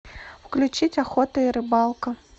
включить охота и рыбалка